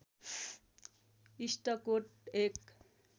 इस्टकोट एक